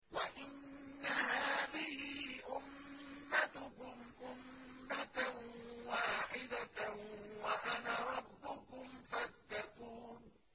وَإِنَّ هَٰذِهِ أُمَّتُكُمْ أُمَّةً وَاحِدَةً وَأَنَا رَبُّكُمْ فَاتَّقُونِ